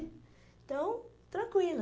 Então, tranquila.